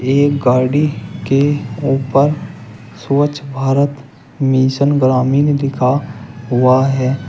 एक गाड़ी के ऊपर स्वच्छ भारत मिशन ग्रामीण लिखा हुआ है।